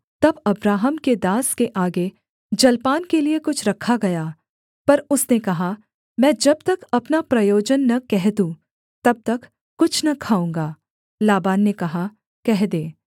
तब अब्राहम के दास के आगे जलपान के लिये कुछ रखा गया पर उसने कहा मैं जब तक अपना प्रयोजन न कह दूँ तब तक कुछ न खाऊँगा लाबान ने कहा कह दे